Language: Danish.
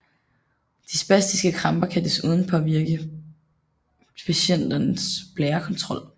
De spastiske kramper kan desuden påvirker patientens blærekontrol